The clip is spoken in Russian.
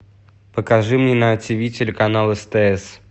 покажи мне на тв телеканал стс